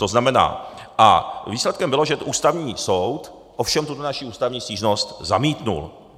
To znamená, a výsledkem bylo, že Ústavní soud ovšem tuhle naši ústavní stížnost zamítl.